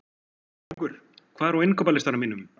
Sigurbergur, hvað er á innkaupalistanum mínum?